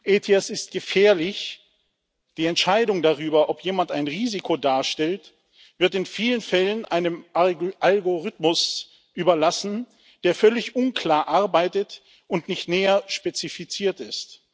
ETIAS ist gefährlich Die Entscheidung darüber, ob jemand ein Risiko darstellt, wird in vielen Fällen einem Algorithmus überlassen, der völlig unklar arbeitet und nicht näher spezifiziert ist.